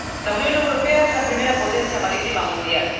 La Unión Europea es la primera potencia marítima mundial.